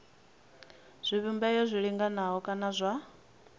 zwivhumbeo zwi linganaho kana zwa